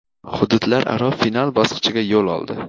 hududlararo final bosqichiga yo‘l oldi;.